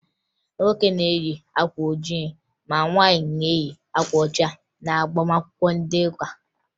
Nwoke na-eyi akwa ojii ma nwaanyị na-eyi uwe ọcha n'agbamakwụkwọ ndị ụka